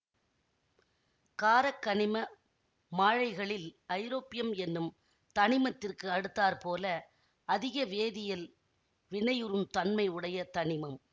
காரக்கனிம மாழைகளில் ஐரோப்பியம் என்னும் தனிமத்திற்கு அடுத்தாற்போல அதிக வேதியியல் வினையுறுந் தன்மை உடைய தனிமம்